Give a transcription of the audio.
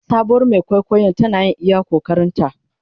Sabuwar Mai kwaikwayon tana yin iya ƙoƙarinta.